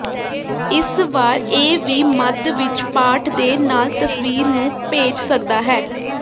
ਇਸ ਵਾਰ ਇਹ ਵੀ ਮੱਧ ਵਿੱਚ ਪਾਠ ਦੇ ਨਾਲ ਤਸਵੀਰ ਨੂੰ ਭੇਜ ਸਕਦਾ ਹੈ